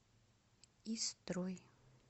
истрой